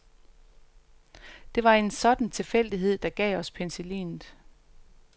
Det var en sådan tilfældighed, der gav os penicillinet.